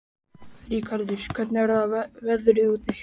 Ríkharður, hvernig er veðrið úti?